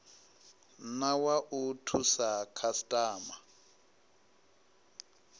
na wa u thusa khasitama